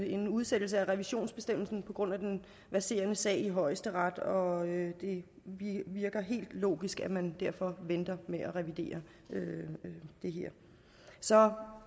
en udsættelse af revisionsbestemmelsen under den verserende sag i højesteret og det virker helt logisk at man derfor venter med at revidere det her så